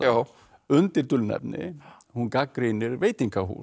undir dulnefni hún gagnrýnir veitingahús